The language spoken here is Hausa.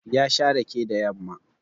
Ya sha rake da yamma